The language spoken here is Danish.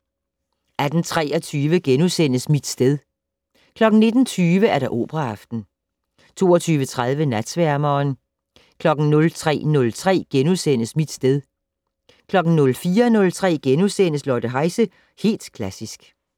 18:23: Mit sted * 19:20: Operaaften 22:30: Natsværmeren 03:03: Mit sted * 04:03: Lotte Heise - Helt Klassisk *